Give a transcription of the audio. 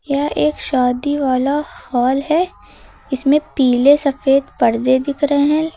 यह एक शादी वाला हॉल है इसमें पीले सफेद पर्दे दिख रहे हैं।